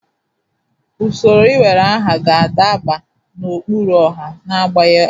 Usoro iwere aha ga-adaba n'ụkpụrụ ọha na-agbanwe agbanwe.